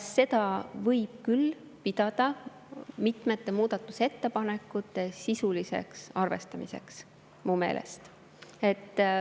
Seda võib küll pidada mitme muudatusettepaneku sisuliseks arvestamiseks mu meelest.